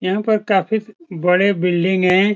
यहां पर काफी बड़े बिल्डिंग हैं।